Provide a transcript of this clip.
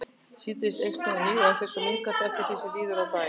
Síðdegis eykst hún á ný en fer svo minnkandi eftir því sem líður á daginn.